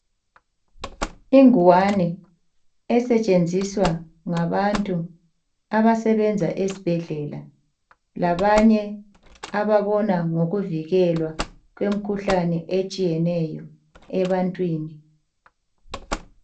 Ingwane esetshenziswa ngabantu abasebenza esibhedlela labanye ababona ngokuvikelwa kwemikhuhlane etshiyeneyo ebantwini